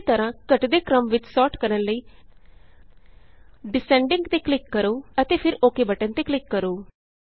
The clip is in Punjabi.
ਉਸੀਂ ਤਰਹਾਂ ਘੱਟਦੇ ਕ੍ਰਮ ਵਿਚ ਸੋਰਟ ਕਰਨ ਲਈDescending ਤੇ ਕਲਿਕ ਕਰੋ ਅਤੇ ਫਿਰ ਓਕ ਬਟਨ ਤੇ ਕਲਿਕ ਕਰੋ